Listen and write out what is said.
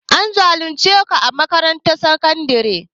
An zalunce ku a makarantar sakandare?